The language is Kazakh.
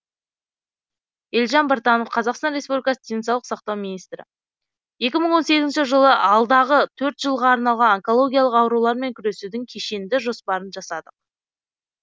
елжан біртанов қазақстан республикасы денсаулық сақтау министрі екі мың он сегізінші жылы алдағы төрт жылға арналған онкологиялық аурулармен күресудің кешенді жоспарын жасадық